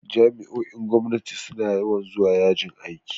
Jami'o'in gwamnati suna yawan zuwa yajin aiki.